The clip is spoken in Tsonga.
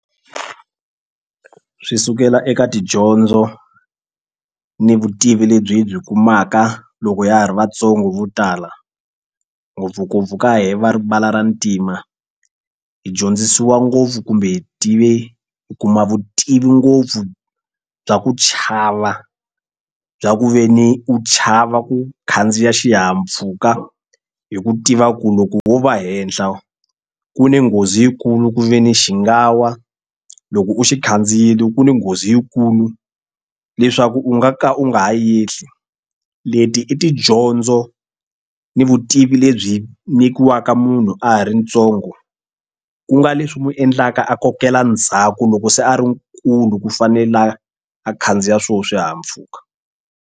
Swi sukela eka tidyondzo ni vutivi lebyi hi byi kumaka loko ya ha ri vatsongo vo tala ngopfungopfu ka he va ribala ra ntima hi dyondzisiwa ngopfu kumbe hi tive hi kuma vutivi ngopfu bya ku chava bya ku ve ni u chava ku khandziya xihahampfhuka hi ku tiva ku loko wo va henhla ku ni nghozi yikulu ku ve ni xi nga wa loko u xi khandziyile ku ni nghozi yikulu leswaku u nga ka u nga ha yehli leti i tidyondzo ni vutivi lebyi nyikiwaka munhu a ha ri ntsongo ku nga leswi n'wi endlaka a kokela ndzhaku loko se a ri nkulu ku fanela a khandziya swona swihahampfuka.